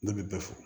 Ne bɛ bɛɛ fɔ